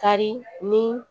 Kari ni